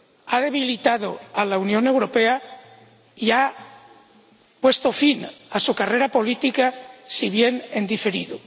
ha debilitado a la Unión Europea y ha puesto fin a su carrera política, si bien en diferido.